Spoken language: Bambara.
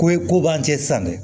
Ko ye ko b'an cɛ san dɛ